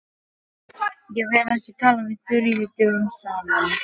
Ég hef ekki talað við Þuríði dögum saman.